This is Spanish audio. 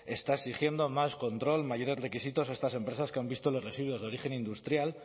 está exigiendo más control mayores requisitos a estas empresas que han visto los residuos de origen industrial